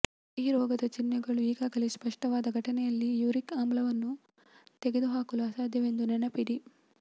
ಈ ರೋಗದ ಚಿಹ್ನೆಗಳು ಈಗಾಗಲೇ ಸ್ಪಷ್ಟವಾದ ಘಟನೆಯಲ್ಲಿ ಯೂರಿಕ್ ಆಮ್ಲವನ್ನು ತೆಗೆದುಹಾಕಲು ಅಸಾಧ್ಯವೆಂದು ನೆನಪಿಡಿ